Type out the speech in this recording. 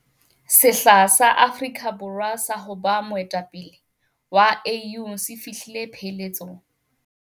Sehla sa Afrika Bo rwa sa ho ba moe tapele wa AU se fi hlile pheletsong.